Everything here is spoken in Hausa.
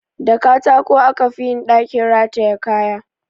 Da katako aka fi yin ɗakin rataye kaya